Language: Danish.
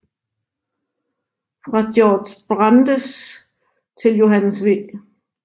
Fra Georg Brandes til Johannes V